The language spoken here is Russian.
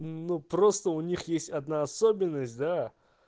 ну просто у них есть одна особенность да